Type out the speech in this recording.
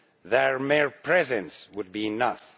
Their mere presence would be enough.